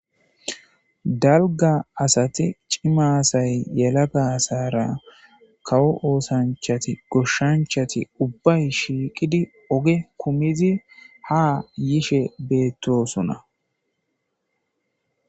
Dalgga asati cima asay yelaga asaara kawo oosanchati goshshanchati ubbay shiiqidi oge kumizi ha yishe beettoosona.